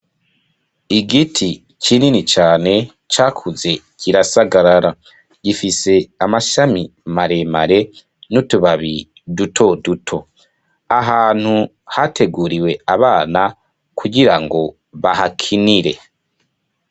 Igiti kinini cane ca kuze kirasagarara, gifise amashami maremare n'utubabi duto duto, ahantu hateguriwe abana, kugira ngo bahakinire.